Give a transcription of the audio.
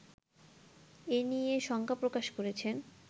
এ নিয়ে শঙ্কা প্রকাশ করেছেন